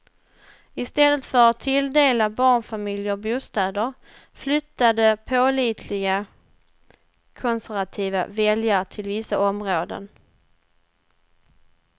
I stället för att tilldela barnfamiljer bostäder, flyttade pålitliga konservativa väljare till vissa områden.